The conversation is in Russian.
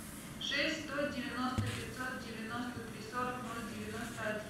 шесть сто девяносто пятьсот девяносто три сорок ноль девяносто один